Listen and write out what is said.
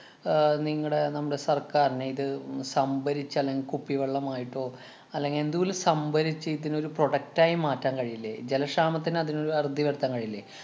ആഹ് നിങ്ങടെ നമ്മുടെ സര്‍ക്കാരിന് ഇത് സംഭരിച്ച് അല്ലെങ്കി കുപ്പിവെള്ളമായിട്ടോ, അല്ലെങ്കില്‍ എന്തേലും സംഭരിച്ച് ഇതിനൊരു product ആയി മാറ്റാന്‍ കഴിയില്ലേ? ജലക്ഷാമത്തിന് അതിനൊരു അറുതി വരുത്താന്‍ കഴിയില്ലേ?